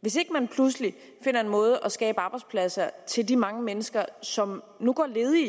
hvis ikke man pludselig finder en måde at skabe arbejdspladser til de mange mennesker som nu går ledige